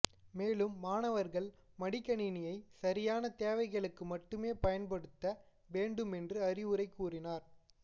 மேலும் மாணவர்கள் மடிக்கணினியை சரியான தேவைகளுக்கு மட்டுமே பயன்படுத்த வேண்டும் என்றும் அறிவுரை கூறினார்